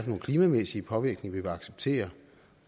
nogle klimamæssige påvirkninger vi vil acceptere